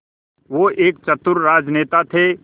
वो एक चतुर राजनेता थे